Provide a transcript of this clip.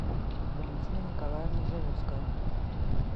валентина николаевна живутская